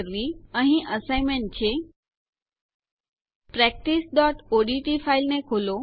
comprehensive assignment વ્યાપક સોંપણી practiceઓડીટી ફાઈલને ખોલો